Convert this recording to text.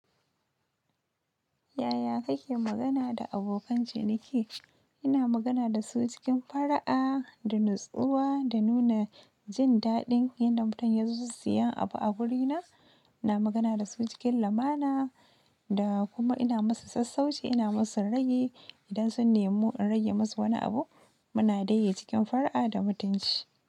Yaya kake magana da abokan ciniki? Ina magana da su cikin fara'a da natsuwa da nuna jin daɗin inda mutum ya zo siyan abu a wurina. Ina magana da su cikin lamana da kuma ina musu sassauci, ina musu ragi idan sun nemi in rage musu wani abu. Muna dai yi cikin fara'a da mutunci.